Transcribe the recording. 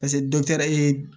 Paseke dɔgɔtɔrɔ ye